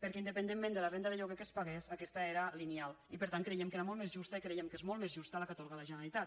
perquè independentment de la renda de lloguer que es pagués aquesta era lineal i per tant creiem que era molt més justa i creiem que és molt més justa la que atorga la generalitat